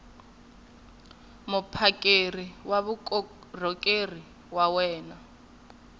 muphakeri wa vukorhokeri wa wena